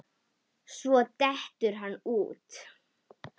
Svo dettur hann út.